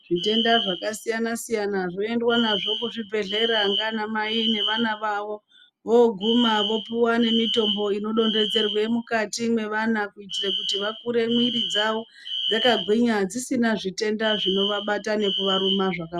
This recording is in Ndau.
Zvitenda zvakasiyana siyana zvoendwa nazvo kuzvibhedhlera ngaanamai nevana vavo. Voguma vopuwa nemitombo inodonhedzerwe mukati mevana kuitire kuti vakure mwiri dzavo dzakagwinya dzisina zvitenda zvinovabata nekuvaruma zvakawanda.